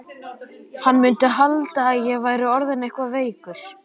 Hann mundi halda að ég væri orðinn eitthvað veikur.